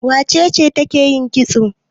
Wace ce take yin kitso?